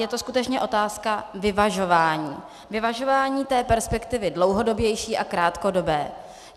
Je to skutečně otázka vyvažování, vyvažování té perspektivy dlouhodobější a krátkodobé.